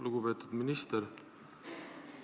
Lugupeetud minister!